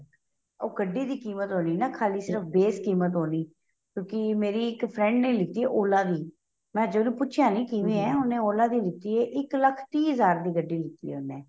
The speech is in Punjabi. ਉਹ ਗੱਡੀ ਦੀ ਕ਼ੀਮਤ ਵਾਲੀ ਨਾ ਖ਼ਾਲੀ ਸਿਰਫ਼ base ਕ਼ੀਮਤ ਹੋਣੀ ਕਿਉਂਕਿ ਮੇਰੀ ਇੱਕ friend ਨੇ ਲਿੱਤੀ ਏ Ola ਦੀ ਮੈਂ ਜਦੋਂ ਪੁੱਛਿਆਂ ਨਹੀਂ ਉਹਨੂੰ ਕਿਵੇਂ ਏ ਉਹਨੇ Ola ਦੀ ਲਿੱਤੀ ਏ ਇੱਕ ਲੱਖ਼ ਹਜ਼ਾਰ ਦੀ ਗੱਡੀ ਲਿੱਤੀ ਏ ਉਹਨੇ